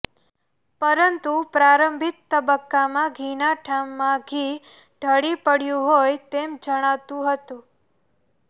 પરંતુ પ્રારંભિક તબક્કામાં ઘીના ઠામમાં ઘી ઢળી પડયુ હોય તેમ જણાતુ હતું